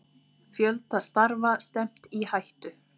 Fjölda starfa stefnt í hættu